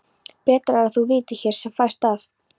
Betra er að þú vitir hér sem fæst af.